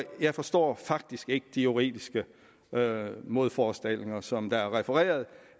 jeg forstår faktisk ikke de juridiske modforestillinger som er refereret